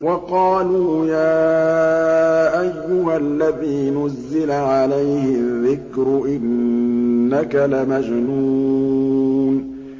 وَقَالُوا يَا أَيُّهَا الَّذِي نُزِّلَ عَلَيْهِ الذِّكْرُ إِنَّكَ لَمَجْنُونٌ